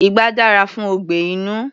Igbà dára fún ọgbẹ́ inú.